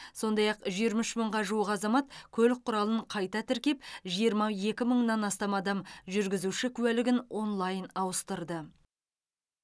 сондай ақ жиырма үш мыңға жуық азамат көлік құралын қайта тіркеп жиырма екі мыңнан астам адам жүргізуші куәлігін онлайн ауыстырды